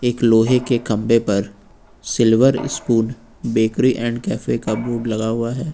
एक लोहे के खंभे पर silver spoon bakery and cafe का बोर्ड लगा हुआ है।